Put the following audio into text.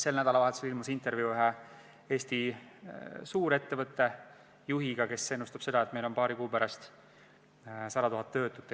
Sel nädalavahetusel ilmus intervjuu ühe Eesti suurettevõtte juhiga, kes ennustab, et Eestis on paari kuu pärast 100 000 töötut.